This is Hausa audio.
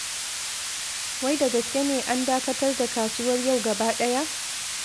Wai da gaske ne an dakatar da kasuwar yau gaba ɗaya?